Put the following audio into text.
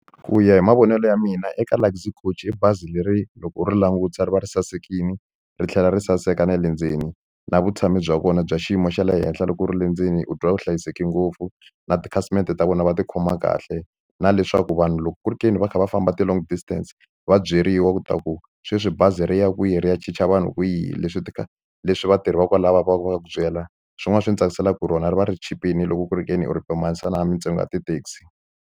Ku ya hi mavonelo ya mina eka Luxy Coach i bazi leri loko u ri langutisa ri va ri sasekile ri tlhela ri saseka na le ndzeni na vutshamo bya vona bya xiyimo xa le henhla loko u ri le ndzeni u twa u hlayiseke ngopfu na tikhasimende ta vona va tikhoma kahle na leswaku vanhu loko ku ri ke ni va kha va famba ti-long distance va byeriwa ku ta ku sweswi bazi ri ya kwihi ri ya chicha vanhu kwihi leswi ti kha leswi vatirhi va kwalaya va va va ku byela swin'wana swi ndzi tsakisaka hi rona ri va ri chipile loko ku ri ke ni u ri pimanisa na mintsengo ya ti-taxi.